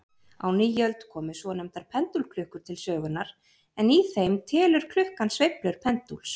Á nýöld komu svonefndar pendúlklukkur til sögunnar, en í þeim telur klukkan sveiflur pendúls.